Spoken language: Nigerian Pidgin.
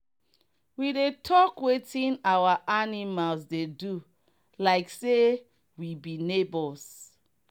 we dey talk wetin our animals dey do like say we be neigbours.